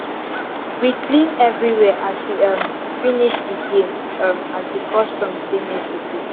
we clean everywhere as we um finish the game um as the custom say make we do